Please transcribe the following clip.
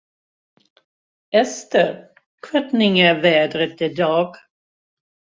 Esther, hvernig er veðrið í dag?